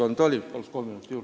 Palun kolm minutit juurde!